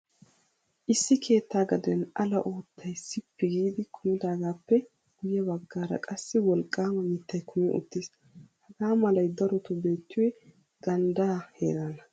Issi keettaa gaden ala uuttay sippi giidi kumidaagaappe guyye baggaara qassi wolqqaama mittay kumi uttiis. Hagaa malay darotoo beettiyoy ganddaa heeraana.